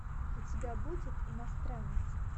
у тебя будет иностранец